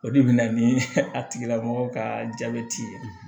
O de bɛ na ni a tigilamɔgɔ ka jabɛti ye